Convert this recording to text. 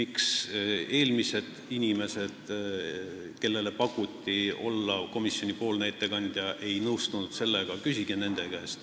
Seda, miks inimesed, kellele enne mind komisjoni ettekandjaks olemist pakuti, sellega ei nõustunud, küsige nende käest.